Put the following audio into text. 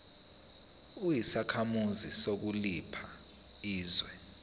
uyisakhamuzi sakuliphi izwe